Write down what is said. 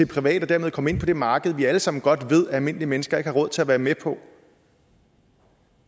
private og dermed komme ind på det marked som vi alle sammen godt ved at almindelige mennesker ikke har råd til at være med på